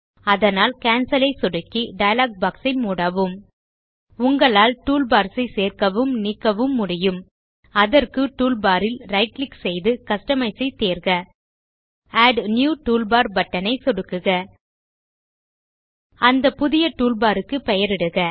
அதனால் கேன்சல் ஐ சொடுக்கி டயலாக் பாக்ஸ் ஐ மூடவும் உங்களால் டூல்பார்ஸ் ஐச் சேர்க்கவும் நீக்கவும் முடியும் அதற்கு டூல்பார் ல் right கிளிக் செய்து கஸ்டமைஸ் ஐ தேர்க ஆட் நியூ டூல்பார் பட்டன் ஐ சொடுக்குக அந்த புதிய டூல்பார் க்கு பெயரிடுக